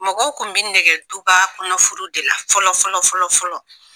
Mɔgɔw kun bɛ nege duba kɔnɔ furu de la fɔlɔ fɔlɔ fɔlɔ fɔlɔ.